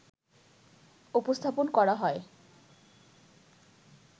উপস্থাপন করা হয়